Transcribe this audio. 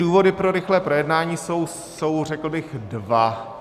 Důvody pro rychlé projednání jsou, řekl bych, dva.